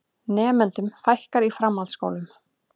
Nemendum fækkar í framhaldsskólum